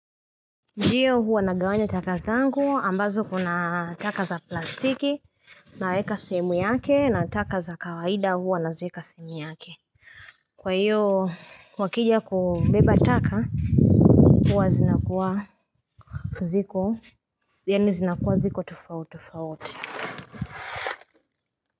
Ndiyo huwa nagawanya taka zangu ambazo kuna taka za plastiki naweka sehemu yake na taka za kawaida huwa nazieka sehemu yake Kwa hiyo wakija kubeba taka huwa zinakuwa ziko tofauti tofauti.